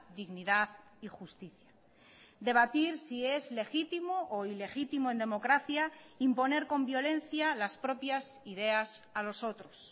dignidad y justicia debatir si es legítimo o ilegítimo en democracia imponer con violencia las propias ideas a los otros